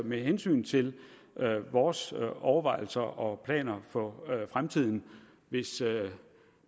med hensyn til vores overvejelser og planer for fremtiden hvis det